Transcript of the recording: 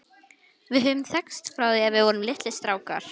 Við höfum þekkst frá því að við vorum litlir strákar.